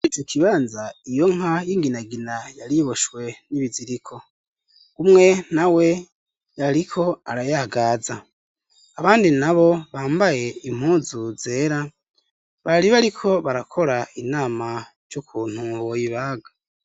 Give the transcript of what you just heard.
Izi ikibanza iyo nka y'inginagina yariboshwe n'ibiziriko gumwe na we yariko arayaagaza abandi na bo bambaye impuzu zera bari be, ariko barakora inama r'ukuntu woyibaga.